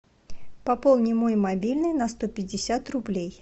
пополни мой мобильный на сто пятьдесят рублей